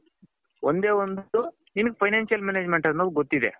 ಒಂದೇ ಒಂದು financial management ಅನ್ನೋದು ಗೊತಿದೆ.